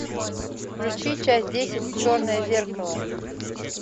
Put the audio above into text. включи часть десять черное зеркало